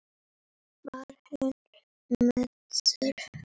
Var hann meiddur?